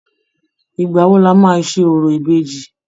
Ìgbà wo lọ́ máa ṣe orò ìbejì?